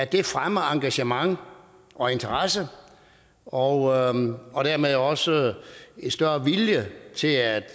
det fremmer engagement og interesse og og dermed også en større vilje til at